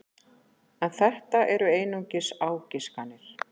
En þetta eru einungis ágiskanir.